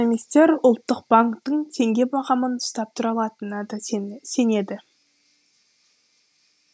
экономистер ұлттық банктің теңге бағамын ұстап тұра алатынына да сенеді